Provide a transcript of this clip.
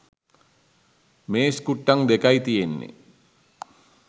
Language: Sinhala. මේස් කුට්ටං දෙකයි තියෙන්නේ